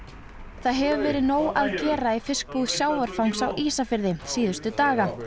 það hefur verið nóg að gera í fiskbúð sjávarfangs á Ísafirði síðustu daga